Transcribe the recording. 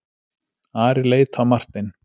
Ari leit á Martein.